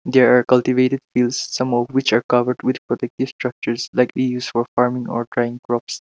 they are cultivated hills some of which are covered with protective structures likely used for farming or drying crops.